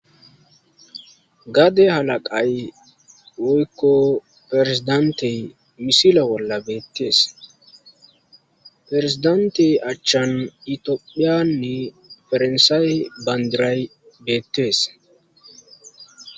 Gade halaqay woyko perezidantey misila bolla beettees perezidantey achchan itophiyanne faransaayi bandiray beettees.